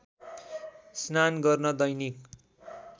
स्नान गर्न दैनिक